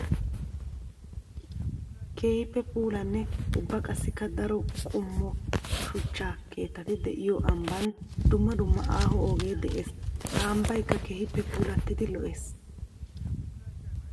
Keehippe puulanne ubba qassikka daro qommo shuchcha keettati de'iyo ambban dumma dumma aaho ogee de'ees. Ha ambbaykka keehippe puulatiddi lo'ees.